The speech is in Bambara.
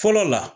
Fɔlɔ la